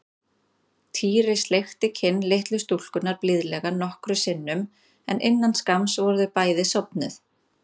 Týri sleikti kinn litlu stúlkunnar blíðlega nokkrum sinnum en innan skamms voru þau bæði sofnuð.